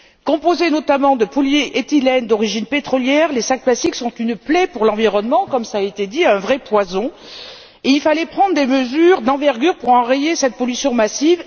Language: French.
Composés, notamment, de polyéthylènes d'origine pétrolière, les sacs en plastique sont une plaie pour l'environnement comme cela a été dit un vrai poison, et il fallait prendre des mesures d'envergure pour enrayer cette pollution massive.